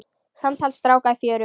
Samtal stráka í fjöru